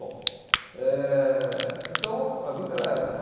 Bom, eh então a vida era essa